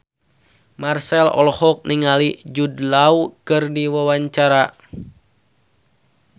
Marchell olohok ningali Jude Law keur diwawancara